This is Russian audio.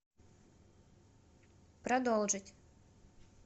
продолжить